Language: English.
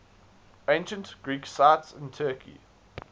ancient greek sites in turkey